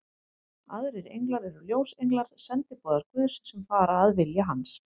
Aðrir englar eru ljósenglar, sendiboðar Guðs, sem fara að vilja hans.